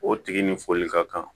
O tigi ni foli ka kan